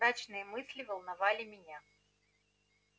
мрачные мысли волновали меня